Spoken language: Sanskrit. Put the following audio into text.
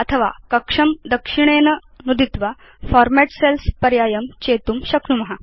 अथवा कक्षं दक्षिणेन नुदित्वा फॉर्मेट् सेल्स् पर्यायं चेतुं शक्नुम